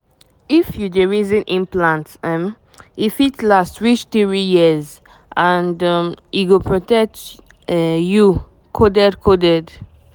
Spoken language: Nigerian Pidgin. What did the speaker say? if you dey reason implant — um — e fit last reach three years and um e go protect um you coded coded.